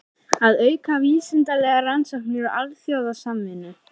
Að auka vísindalegar rannsóknir og alþjóðasamvinnu.